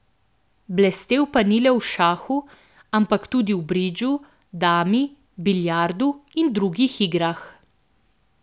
Blestel pa ni le v šahu, ampak tudi v bridžu, dami, biljardu in drugih igrah.